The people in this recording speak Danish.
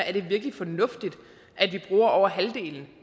er det virkelig fornuftigt